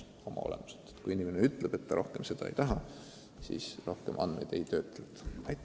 Kui inimene ütleb, et ta rohkem abi pakkumist ei taha, siis tema andmeid enam ei töödelda.